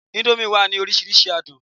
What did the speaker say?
indomie wa ni orísirísi adun